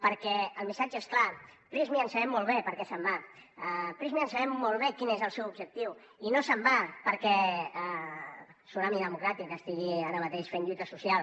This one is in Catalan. perquè el missatge és clar prysmian sabem molt bé per què se’n va prysmian sabem molt bé quin és el seu objectiu i no se’n va perquè tsunami democràtic estigui ara mateix fent lluita social